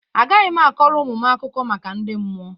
Agaghị m akọrọ ụmụ m akụkọ maka ndị mmụọ.